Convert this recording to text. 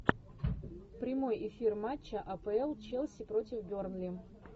прямой эфир матча апл челси против бернли